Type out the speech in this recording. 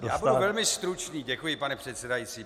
Já budu velmi stručný, děkuji, pane předsedající.